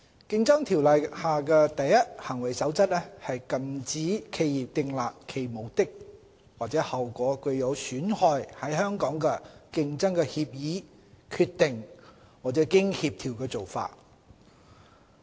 《競爭條例》下的"第一行為守則"禁止企業訂立其目的或效果具有損害在香港的競爭的協議、決定或經協調的做法。